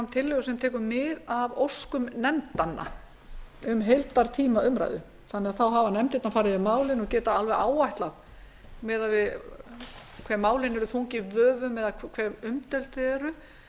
tillögu sem tekur mið af óskum nefndanna um heildartíma umræðu þannig að þá hafa nefndirnar farið yfir málin og geta alveg áætlað miðað við hve málin eru þung í vöfum eða hve umdeild þau eru